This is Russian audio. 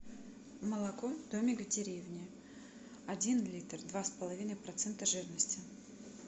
молоко домик в деревне один литр два с половиной процента жирности